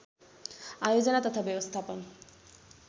आयोजना तथा व्यवस्थापन